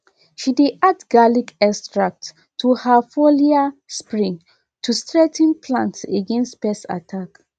she dey add garlic extract to her foliar spray to strengthen plants against pest attack